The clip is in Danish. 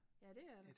Ja dét er der